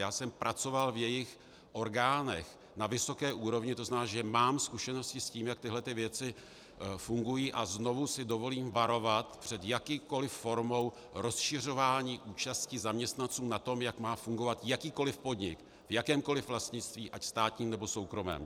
Já jsem pracoval v jejich orgánech na vysoké úrovni, to znamená, že mám zkušenosti s tím, jak tyhle věci fungují, a znovu si dovolím varovat před jakoukoliv formou rozšiřování účasti zaměstnanců na tom, jak má fungovat jakýkoliv podnik v jakémkoliv vlastnictví - ať státním, nebo soukromém.